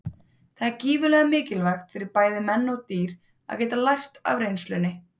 Það er gífurlega mikilvægt fyrir bæði menn og dýr að geta lært af reynslunni.